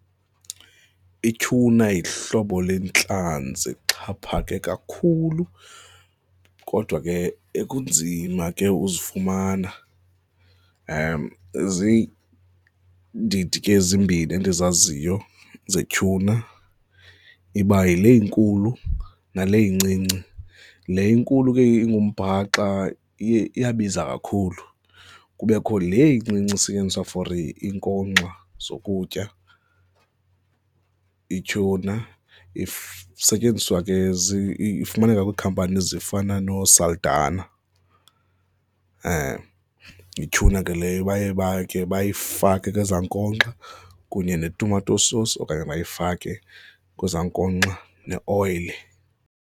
Ityhuna yihlobo lentlanzi exhaphake kakhulu kodwa ke ekunzima ke uzifumana, ziindidi ke ezimbini endizaziyo zetyhuna. Iba yile inkulu nale incinci. Le inkulu ke ingumbhaxa iye, iyabiza kakhulu. Kubekho le incinci isetyenziswa for inkonkxa zokutya, ityhuna isetyenziswa ke ifumaneka kwiikhampani ezifana nooSaldanha. Yityhuna ke leyo baye bakhe bayifake kwezaa nkonkxa kunye netumato sosi okanye bayifake kwezaa nkonkxa neoyile.